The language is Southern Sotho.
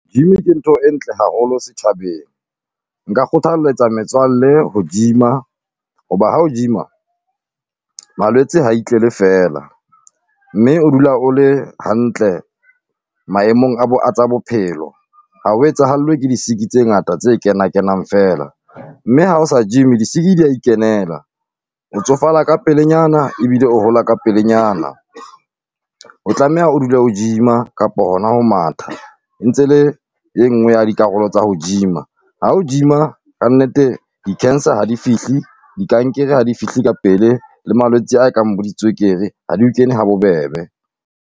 Gym ke ntho e ntle haholo setjhabeng, nka kgothalletsa metswalle ho gym-a, hoba ha o gym-a malwetse ha itlele feela. Mme o dula o le hantle maemong a bo a tsa bophelo, ha o etsahallwe ke di sick-i tse ngata tse kena kenang feela, mme ha o sa gym-i di sick-i di ya ikenela. O tsofala ka pelenyana ebile o hola ka pelenyana, o tlameha o dule o gym-a kapo hona ho matha ntse le engoe ya dikarolo tsa ho gym-a. Ha o gym-a kannete di cancer ha di fihle dikankere ha di fihle ka pele, le malwetse a kang bo di tswekere ha di o kene ha bobebe.